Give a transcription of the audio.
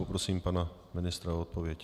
Poprosím pana ministra o odpověď.